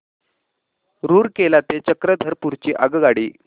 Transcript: रूरकेला ते चक्रधरपुर ची आगगाडी